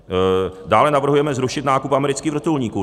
Dále navrhujeme zrušit nákup amerických vrtulníků.